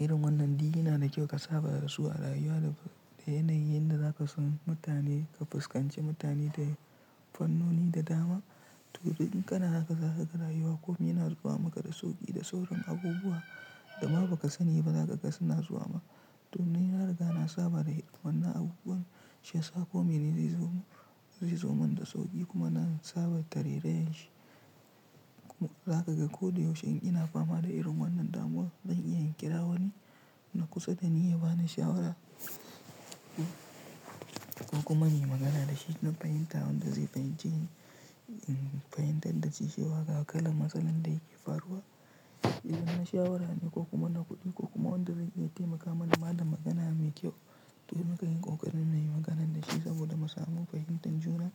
irin wannan duk yana da kyau ka saba da su a rayuwa da yanayin da zaka san mutane ka fuskanci mutane da fannoni da dama. To idan kana haka zaka ga rayuwa kuma yana zuwa maka da sauƙi da sauran abubuwa da ma ba ka sani ba za ka ga suna zuwa ma. To ni na riga na saba da wannan abubuwan, shiyasa komai nene yazo zai zo min da sauki kuma na saba tarerayan shi kuma za ka ga ko da yaushe in ina fama da irin wannan damuwan zan iya kira wani na kusa da ni ya bani shawara ko kuma muyi magana dashi duk fahimtawan da zai fahimce fahimtar da ci shewa ga kalan matsalan da yake faruwa. Na shawara ne ko kuma na kuɗi ko kuma wanda zai taimaka mana ma da magana mai kyau. To na kan yi ƙoƙarin na yi maganan da shi saboda mu samu fahimtar juna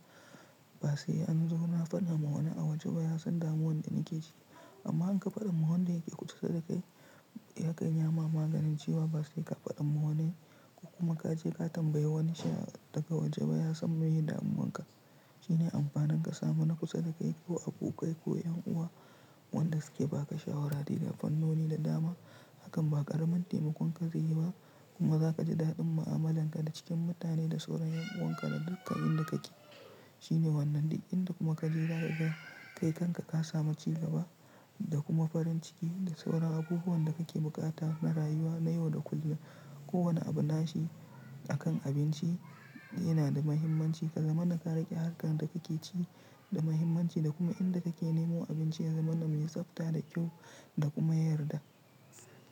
ba sai an zo na faɗa ma wani a waje ba ya san damuwan da nake ci. Amma in ka faɗan ma wan da yake kusa da kai ya kan iyama maganin ciwon ba sai ka faɗan ma wani ko kuma ka je ka tambayi wani sha daga waje ba ya san me ya damuwan ka. Shine amfanin ka samu na kusa da kai ko abokai ko ƴan uwa wanda suke ba ka shawara dai da fannoni da dama. Hakan ba ƙaramin taimakon ka zai yi ba kuma za ka ji daɗin mu'amalanka da cikin mutane da sauran ƴan'uwanka da dukkan inda kake. Shine wannan duk inda kuma ka je za ka ga kai kanka ka sami cigaba da kuma farin ciki da sauran abubuwan da kake buƙata na rayuwa na yau da kullum. Ko wani abu nashi akan abinci yana da muhimmanci. Ka zama na ka riƙe harkar da kuke ci da muhimmanci da kuma inda kake nemo abinci ya zama na mai tsafta da kyau da kuma yarda.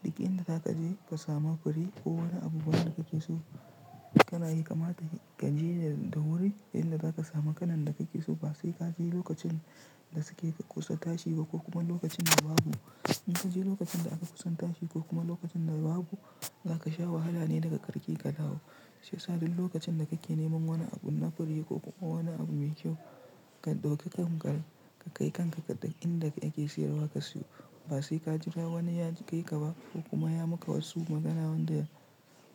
Duk in da za ka je ka samu fure ko wani abubuwan da kake so kana yi kamata ka je da wuri inda za ka samu kalan da kake so ba sai ka je lokacin da suke kusa tashi ba ko kuma lokacin da babu. In ka je lokacin da aka kusa tashi ko kuma lokacin da babu za ka sha wahala ne daga karshe ka dawo. Shi ya sa duk lokacin da kake neman wani abu na fure ko kuma wani abu mai kyau ka ɗauki hankali ka kai kanka kaɗai inda yake siyarwa ka siyo ba sai ka jira wani ya kai ka ba ko kuma ya maka wasu magana wanda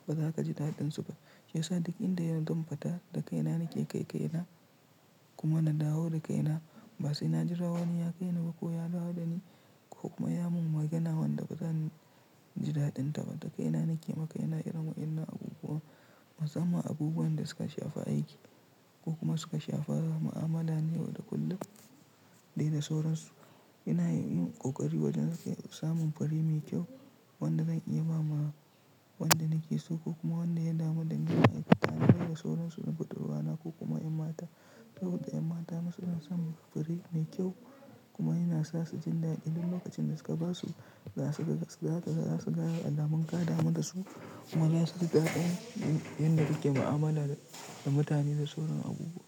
ba za ka ji daɗin su ba. Shi ya sa duk inda ni zan fita da kaina nake kai kaina kuma na dawo da kaina ba sai na jira wani ya kai ni ba ko ya dawo da ni ko kuma ya mun magana wanda ba zan ji daɗin ta ba. Da kaina nake maka kaina irin wa'ennan abubuwan musamman abubuwan da suka shafi aiki ko kuma suka shafi mu'amala na yau da kullum dai da sauransu. Ina yin ƙoƙari wajen samun fure mai kyau wanda zan iya bama wanda nake so ko kuma wanda ya damu dani a aiki tare da sauransu. Budurwaana ko kuma ƴan mata saboda ƴan mata ma suna son fure mai kyau kuma yana sa su jin dadi duk lokacin da ka ba su za su su ga kaman alamun kada mu da su kuma na su ji daɗin inda yake mu'amala da mutane da sauran abubuwa.